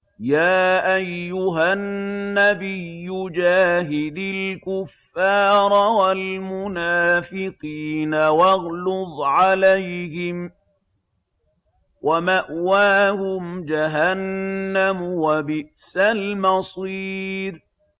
يَا أَيُّهَا النَّبِيُّ جَاهِدِ الْكُفَّارَ وَالْمُنَافِقِينَ وَاغْلُظْ عَلَيْهِمْ ۚ وَمَأْوَاهُمْ جَهَنَّمُ ۖ وَبِئْسَ الْمَصِيرُ